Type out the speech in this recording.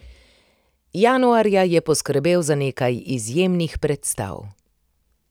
Januarja je poskrbel za nekaj izjemnih predstav.